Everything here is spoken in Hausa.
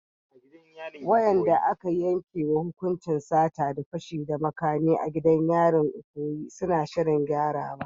Waɗanda aka yankewa hukuncin sata da fashi da makami a gidan yarin Ikoyi suna shirin gyarawa.